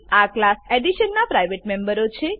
આ class edition નાં private મેમ્બરો છે